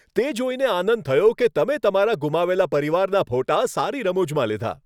તે જોઈને આનંદ થયો કે તમે તમારા ગુમાવેલા પરિવારના ફોટા સારી રમૂજમાં લીધા.